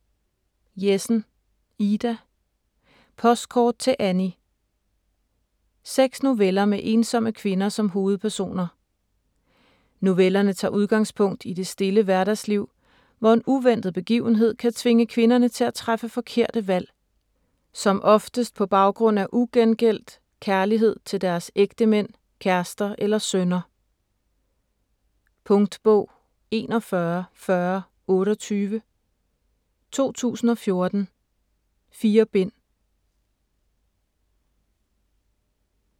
Jessen, Ida: Postkort til Annie Seks noveller med ensomme kvinder som hovedpersoner. Novellerne tager udgangspunkt i det stille hverdagsliv, hvor en uventet begivenhed kan tvinge kvinderne til at træffe forkerte valg. Som oftest på baggrund af ugengældt kærlighed til deres ægtemænd, kærester eller sønner. Punktbog 414028 2014. 4 bind.